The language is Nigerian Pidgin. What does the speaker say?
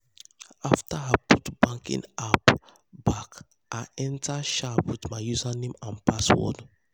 after i put the banking app back i enter sharp with my username and password.